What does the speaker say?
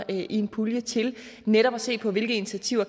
i en pulje til netop at se på hvilke initiativer